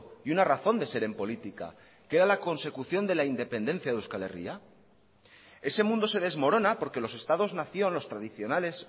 y una razón de ser en política que era la consecución de la independencia de euskal herria ese mundo se desmorona porque los estados nación los tradicionales